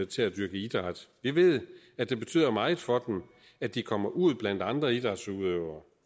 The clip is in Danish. til at dyrke idræt vi ved at det betyder meget for dem at de kommer ud blandt andre idrætsudøvere